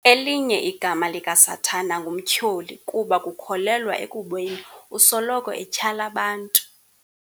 Elinye igama likaSathana nguMtyholi kuba kukholelwa ekubeni usoloko etyhala abantu.